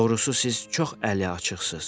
Doğrusu, siz çox əliaçıqsız.